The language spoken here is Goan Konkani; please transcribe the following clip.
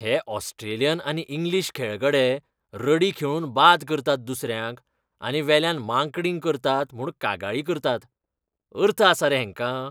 हे ऑस्ट्रेलियन आनी इंग्लीश खेळगडे रडी खेळून बाद करतात दुसऱ्यांक, आनी वेल्यान मांकडिंग करतात म्हूण कागाळी करतात. अर्थ आसा रे हेंका?